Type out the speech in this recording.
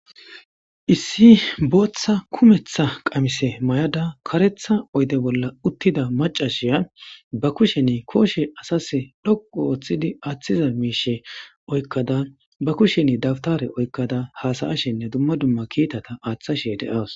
issi booththa kumetha qamise may7ada karetha oyde bolla uttida macashiya ba kusheni kooshe asase dhoqu ooththidi aaththiza miishe oykkada ba kushen dabtare oykkada haasayashenne dumma dumma kiitata aaththashe de7awas